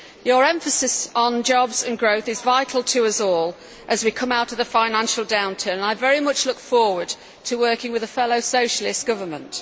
His emphasis on jobs and growth is vital to us all as we come out of the financial downturn, and I very much look forward to working with a fellow socialist government.